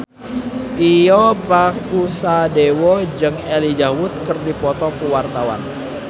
Tio Pakusadewo jeung Elijah Wood keur dipoto ku wartawan